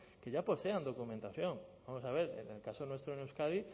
que ya poseen documentación vamos a ver en el caso nuestro en euskadi